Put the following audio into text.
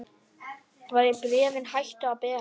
Bréfin hættu að berast.